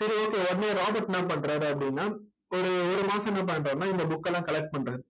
சரி okay உடனே Robert என்ன பண்றாரு அப்படின்னா ஒரு ஒரு மாசம் என்ன பண்றாருன்னா இந்த book எல்லாம் collect பண்றாரு.